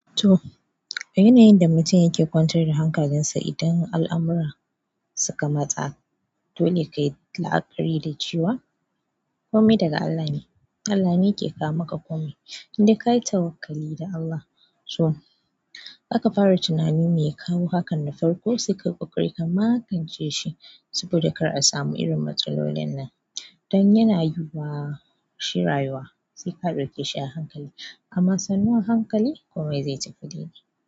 To yanayin yanda mutum yake kwantar da hankalin sa idan al'amura suka matsa dole kayi la'akari da cewa komai daga Allah ne Allah ne yake kawo maka komai, in dai kayi tawakkali da Allah. To, aka fara tunani me ya kawo hakan na farko sai ka ƙoƙari ka maƙance shi saboda kar a samu irin matsalolin nan. Dan yana yiwuwa, shi rayuwa sai ka ɗauke shi a hankali, amma sannu a hankali komai zai tafi daidai.